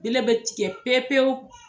I le be tikɛ pe pewu.